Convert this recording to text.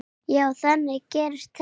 Já, þannig gerist þetta.